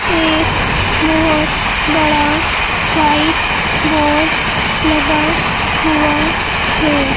एक बहोत बड़ा वाइट बोर्ड लगा हुआ है।